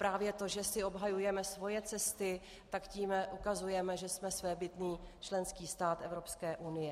Právě to, že si obhajujeme svoje cesty, tak tím ukazujeme, že jsme svébytný členský stát Evropské unie.